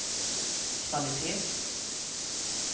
kvalitet